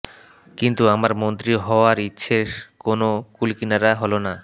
কিন্তু আমার মন্ত্রী হওয়ার ইচ্ছের কোন কূলকিনারা হলো না